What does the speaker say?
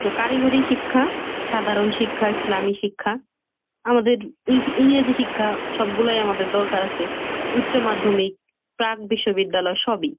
So কারিগরি শিক্ষা, সাধারণ শিক্ষা, ইসলামী শিক্ষা আমাদের এই এই যে শিক্ষা সবগুলাই আমাদের দরকার আছে। উচ্চ মাধ্যমিক প্রাক বিশ্ববিদ্যালয় সবই।